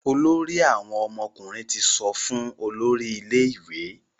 Olórí àwọn ọmọkùnrin tí sọfún olórí ilé ìwé.